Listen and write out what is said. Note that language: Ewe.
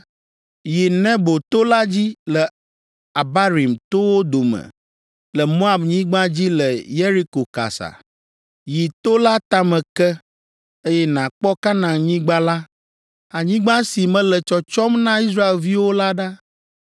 “Yi Nebo to la dzi le Abarim towo dome le Moabnyigba dzi le Yeriko kasa. Yi to la tame ke, eye nàkpɔ Kanaanyigba la, anyigba si mele tsɔtsɔm na Israelviwo la ɖa.